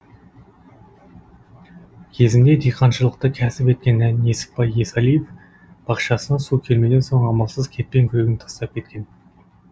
кезінде диқаншылықты кәсіп еткен несіпбай есалиев бақшасына су келмеген соң амалсыз кетпен күрегін тастап кеткен